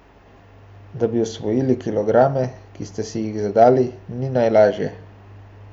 Da bi osvojli kilograme, ki ste si jih zadali, ni najlažje.